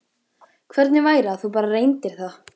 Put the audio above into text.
Hvernig væri að þú bara reyndir það?